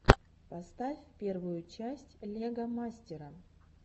поставь первую часть лего мастера